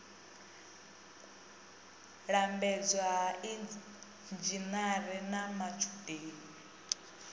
lambedzwa ha inzhinere na matshudeni